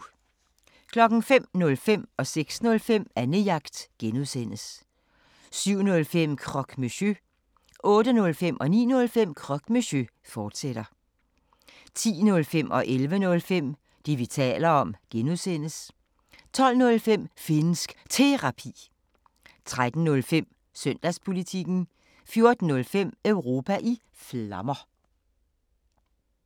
05:05: Annejagt (G) 06:05: Annejagt (G) 07:05: Croque Monsieur 08:05: Croque Monsieur, fortsat 09:05: Croque Monsieur, fortsat 10:05: Det, vi taler om (G) 11:05: Det, vi taler om (G) 12:05: Finnsk Terapi 13:05: Søndagspolitikken 14:05: Europa i Flammer